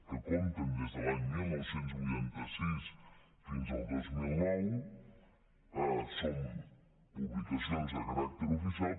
que compten des de l’any dinou vuitanta sis fins al dos mil nou són publicacions de caràcter oficial